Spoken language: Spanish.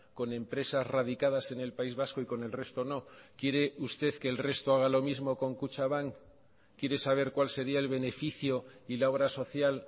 con empresas radicadas en el país vasco y con el resto no quiere usted que el resto haga lo mismo con kutxabank quiere saber cuál sería el beneficio y la obra social